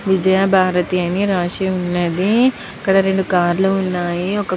విజయ భారతి అని రాసి ఉనది ఇక్కడ రెండు కార్ లు ఉనాయ్.